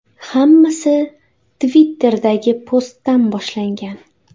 Hammasi Twitter’dagi postdan boshlangan.